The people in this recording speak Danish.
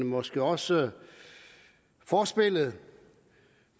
måske også forspillet